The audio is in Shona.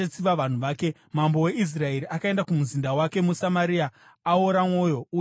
Mambo weIsraeri akaenda kumuzinda wake muSamaria aora mwoyo uye ashatirwa.